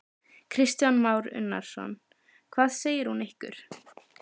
Kristján Már Unnarsson: Hvað segir hún ykkur?